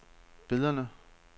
billederne